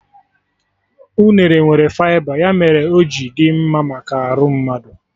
Unere nwere fịba, ya mere ohi dị mma maka arụ mmadụ